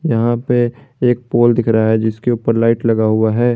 यहां पे एक पोल दिख रहा है जिसके ऊपर लाइट लगा हुआ है।